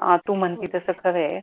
हा तू म्हणते तसं खर आहे,